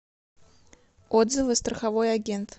отзывы страховой агент